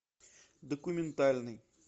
документальный